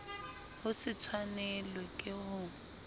ho se tshwanelwe ke ho